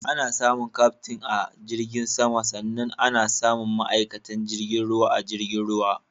Ana samun Kyaftin a jirgin sama sannan ana samun ma'aikatan jirgin ruwa a jirgin ruwa.